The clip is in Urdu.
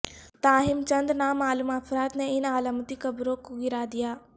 تاہم چند نامعلوم افراد نے ان علامتی قبروں کو گرا دیا